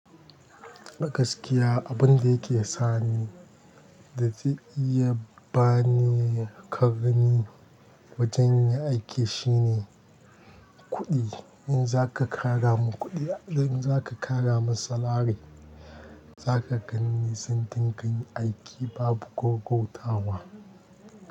Gaskiya abun da yake sa ni da zai iya ba ni ƙarami wajen yin aiki shine kuɗi. In za ka ƙara mun kuɗi, in za ka ƙara mun salari, za ka gani nisan dinga yin aiki babu gogotawa.